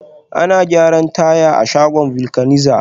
Ana gyaran taya a shagon vulcanizer